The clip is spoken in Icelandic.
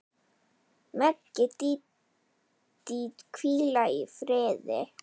Megi Dídí hvíla í friði.